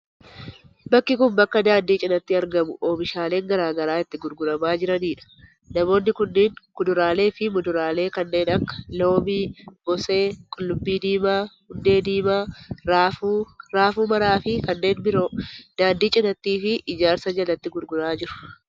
Bakki kun, bakka daandii cinaatti argamu oomishaaleen garaa garaa itti gurguramaa jiranii dha. Namoonni kunneen kuduraalee fi muduraalee kan akka:loomii, moosee, qullubbii diimaa, hundee diimaa, raafuu ,raafuu maramaa fi kanneen biroo daandii cinaatti fi ijaarsa jalatti gurguraa jiru.